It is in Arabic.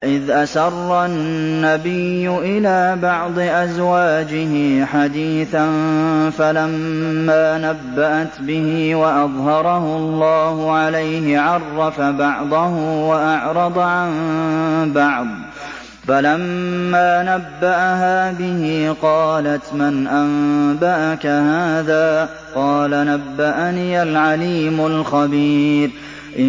وَإِذْ أَسَرَّ النَّبِيُّ إِلَىٰ بَعْضِ أَزْوَاجِهِ حَدِيثًا فَلَمَّا نَبَّأَتْ بِهِ وَأَظْهَرَهُ اللَّهُ عَلَيْهِ عَرَّفَ بَعْضَهُ وَأَعْرَضَ عَن بَعْضٍ ۖ فَلَمَّا نَبَّأَهَا بِهِ قَالَتْ مَنْ أَنبَأَكَ هَٰذَا ۖ قَالَ نَبَّأَنِيَ الْعَلِيمُ الْخَبِيرُ